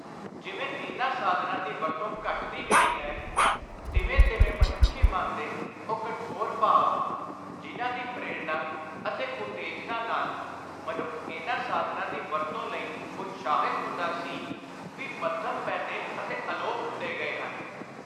ਜਿਵੇਂ ਇਨ੍ਹਾਂ ਸਾਧਨਾਂ ਦੀ ਵਰਤੋਂ ਘਟਦੀ ਗਈ ਹੈ, ਤਿਵੇਂ ਤਿਵੇਂ ਮਨੁੱਖੀ ਮਨ ਦੇ ਉਹ ਕਠੋਰ ਭਾਵ, ਜਿਨ੍ਹਾਂ ਦੀ ਪ੍ਰੇਰਣਾ ਅਤੇ ਉਤੇਜਨਾ ਨਾਲ ਮਨੁੱਖ ਇਨ੍ਹਾਂ ਸਾਧਨਾਂ ਦੀ ਵਰਤੋਂ ਲਈ ਉਤਸ਼ਾਹਿਤ ਹੁੰਦਾ ਸੀ, ਵੀ ਮੱਧਮ ਪੈਂਦੇ ਅਤੇ ਅਲੋਪ ਹੁੰਦੇ ਗਏ ਹਨ।